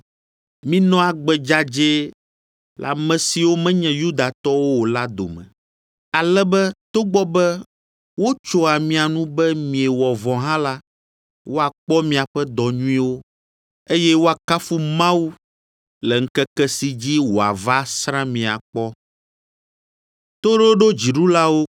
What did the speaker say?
Minɔ agbe dzadzɛ le ame siwo menye Yudatɔwo o la dome, ale be togbɔ be wotsoa mia nu be miewɔ vɔ̃ hã la, woakpɔ miaƒe dɔ nyuiwo, eye woakafu Mawu le ŋkeke si dzi wòava asrã mí akpɔ.